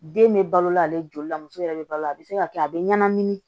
Den bɛ balo la ale joli la muso yɛrɛ bɛ balo a bɛ se ka kɛ a bɛ ɲɛnamini